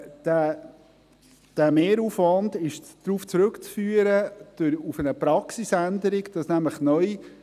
Dieser Mehraufwand ist auf eine Praxisänderung zurückzuführen.